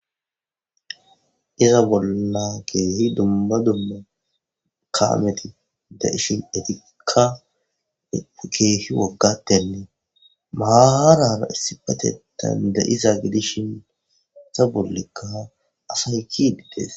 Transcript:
iza bolna keehi dumba dommo kaameti da ishin etika keehi waggattennee maarana issipate dandayiza gidishin ta bollekka asay ki dides